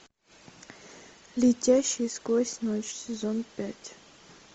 летящий сквозь ночь сезон пять